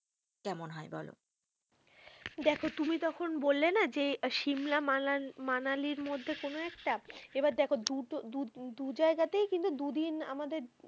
কেমন হয় বলো, দেখো তুমি যখন বললে না যে সিমলা, মানা~মানালির মধ্যে কোনো একটা, এবার দেখো দু টো দু জায়গাতে তাই দু দিন আমাদের,